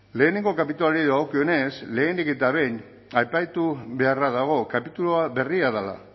lehenengo kapituluari dagokionez lehenik eta behin aipatu beharra dago kapitulua berria dela